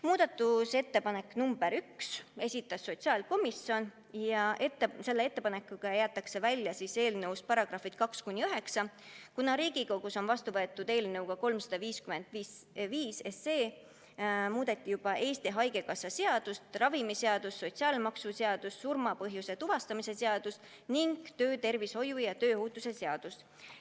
Muudatusettepaneku nr 1 esitas sotsiaalkomisjon ja selle ettepanekuga jäetakse eelnõust välja paragrahvid 2–9, kuna Riigikogus vastu võetud eelnõuga 355 muudeti juba Eesti Haigekassa seadust, ravimiseadust, sotsiaalmaksuseadust, surma põhjuse tuvastamise seadust ning töötervishoiu ja tööohutuse seadust.